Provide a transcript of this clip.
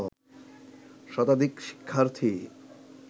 শতাধিক শিক্ষার্থী